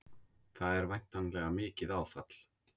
Það er væntanlega mikið áfall?